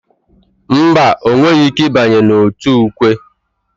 Mba, ọ nweghị ike ịbanye n'òtù ukwe.